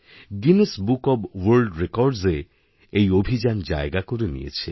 Guinness book of world records এ এই অভিযান জায়গা করে নিয়েছে